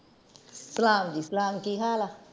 ਸਲਾਮ ਜੀ ਸਲਾਮ ਕੀ ਹਾਲ ਆ?